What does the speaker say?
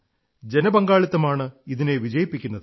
ജനപങ്കാളിത്തമാണ് ഇതിനെ വിജയിപ്പിക്കുന്നത്